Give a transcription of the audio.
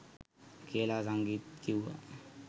කියලා සංගීත් කිව්වා.